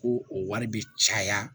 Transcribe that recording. Ko o wari bɛ caya